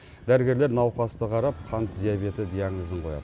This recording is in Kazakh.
дәрігерлер науқасты қарап қант диабеті диагнозын қояды